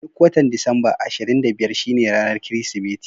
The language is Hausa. Duk watan Disamba ashirin da biyar shine ranar Kirsimeti.